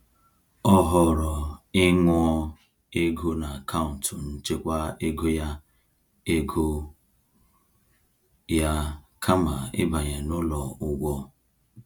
Ọ họọrọ ịṅụọ ego n’akaụntụ nchekwa ego ya ego ya kama ibanye n’ụlọ ụgwọ.